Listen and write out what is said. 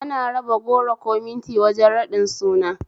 Ana raba goro ko minti wajen raɗin suna